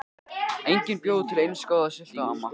Enginn bjó til eins góða sultu og amma.